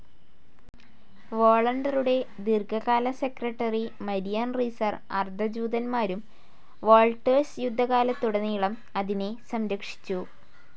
വോളണ്ടറുടെ ദീർഘകാല secretary Marian Reiser അർദ്ധ ജൂതന്മാരും വോൾട്ടേഴ്സ് യുദ്ധകാലത്തുടനീളം അതിനെ സംരക്ഷിച്ചു.